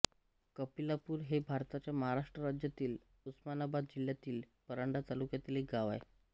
कपिलापुरी हे भारताच्या महाराष्ट्र राज्यातील उस्मानाबाद जिल्ह्यातील परांडा तालुक्यातील एक गाव आहे